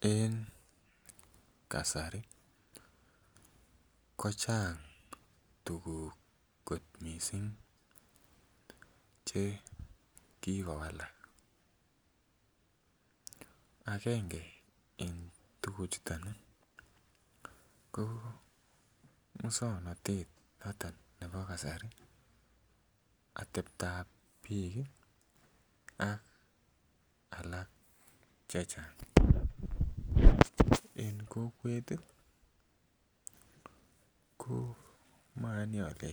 En kasari kasari ko chang tuguk kot missing chekikowalak agenge en tuguk chuton ih ko muswongnotet nebo kasari ateptab biik ih ak alak chechang, en kokwet ih ko moyoni ale